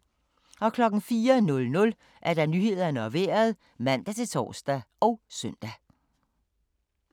04:00: Nyhederne og Vejret (man-tor og søn)